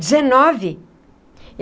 Dezenove.